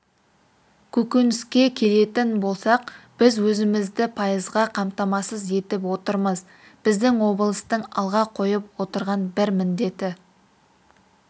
көкөніске келетін болсақ біз өзімізді пайызға қамтамасыз етіп отырмыз біздің облыстың алға қойып отырған бір міндеті